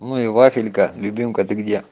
ну и вафелька любимка ты где